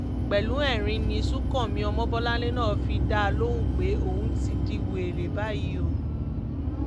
pẹ̀lú ẹ̀rín ni sùǹkànmí ọmọbọ́nlẹ̀ náà fi dá a lóhùn pé ó ti di wẹ́rẹ́ báyìí o